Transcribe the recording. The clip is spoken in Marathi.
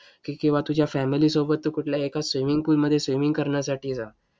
किंवा तुझ्या family सोबत तू कुठल्या एका swimming pool मध्ये swimming करण्यासाठी जा.